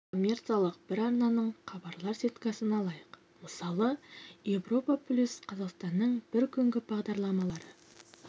ал енді коммерциялық бір арнаның хабарлар сеткасын алайық мысалы европа плюс қазақстанның бір күнгі бағдарламалары